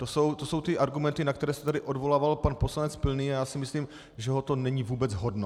To jsou ty argumenty, na které se tady odvolával pan poslanec Pilný, a já si myslím, že ho to není vůbec hodno.